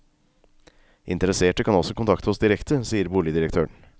Interesserte kan også kontakte oss direkte, sier boligdirektøren.